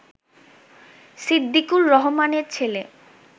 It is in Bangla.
সিদ্দিকুর রহমানের ছেলে